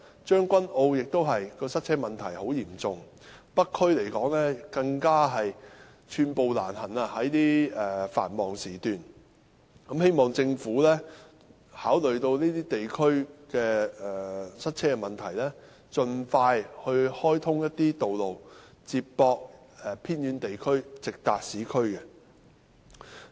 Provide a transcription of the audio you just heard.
將軍澳的塞車問題同樣嚴重，而北區在繁忙時段更是寸步難行，希望政府考慮到這些地區的塞車問題，盡快開通一些道路接駁偏遠地區，直達市區。